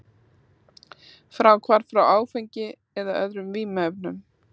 Fráhvarf frá áfengi eða öðrum vímuefnum.